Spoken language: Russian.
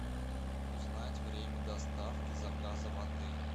узнать время доставки заказа в отеле